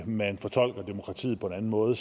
man fortolker demokratiet på en anden måde